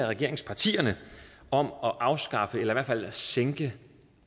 regeringspartierne om at afskaffe eller i hvert fald sænke